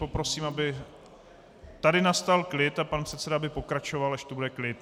Poprosím, aby tady nastal klid, a pan předseda by pokračoval, až tu bude klid.